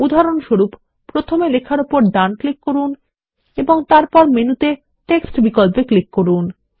উদাহরণস্বরূপ প্রথমে লেখার উপর ডান ক্লিক করুন এবং তারপর মেনুতে টেক্সট বিকল্পে ক্লিক করুন